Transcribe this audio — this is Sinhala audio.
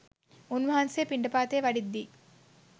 උන්වහන්සේ පිණ්ඩපාතේ වඩිද්දී